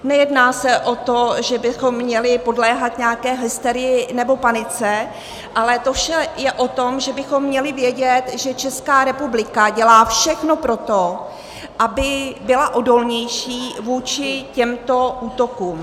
Nejedná se o to, že bychom měli podléhat nějaké hysterii nebo panice, ale to vše je o tom, že bychom měli vědět, že Česká republika dělá všechno pro to, aby byla odolnější vůči těmto útokům.